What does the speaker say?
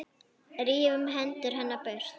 Rífur hendur hennar burt.